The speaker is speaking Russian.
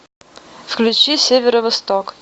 включи северо восток